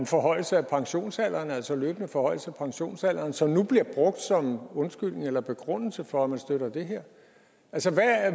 forhøjelse af pensionsalderen altså en løbende forhøjelse af pensionsalderen som nu bliver brugt som undskyldning eller begrundelse for at man støtter det her altså